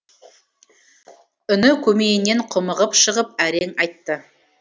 үні көмейінен құмығып шығып әрең айтты